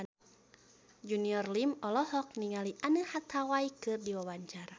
Junior Liem olohok ningali Anne Hathaway keur diwawancara